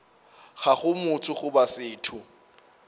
ga go motho goba setho